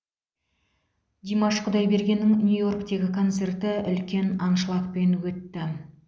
димаш құдайбергеннің нью йорктегі концерті үлкен аншлагпен өтті